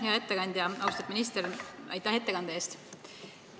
Hea ettekandja, austatud minister, aitäh ettekande eest!